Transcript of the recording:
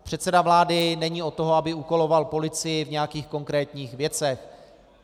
Předseda vlády není od toho, aby úkoloval policii v nějakých konkrétních věcech.